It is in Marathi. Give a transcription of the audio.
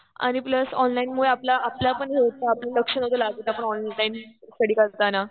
आणि प्लस ऑनलाईनमुळे आपला पण हेच प्रॉब्लेम आपलं लक्ष नव्हतं लागत. आपण ऑनलाईन स्टडी करताना.